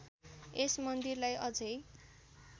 यस मन्दिरलाई अझै